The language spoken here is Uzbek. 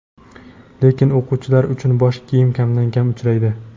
lekin o‘quvchilar uchun bosh kiyim kamdan-kam uchraydi.